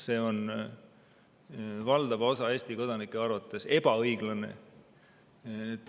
See on valdava osa Eesti kodanike arvates ebaõiglane.